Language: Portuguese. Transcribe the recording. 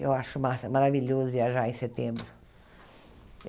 Eu acho massa maravilhoso viajar em setembro.